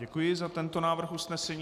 Děkuji za tento návrh usnesení.